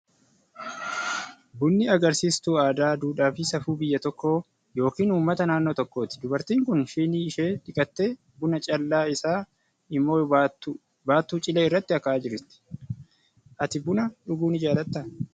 Bunni agarsiistuu aadaa, duudhaa fi safuu biyya tokkoo yookiin uummata naannoo tokkooti. Dubartiin kun shinii ishee dhiqattee, buna callaa isaa immoo baattuuu cilee irratti akaa'aa jiri. Ati buna dhuguu ni jaalattaa?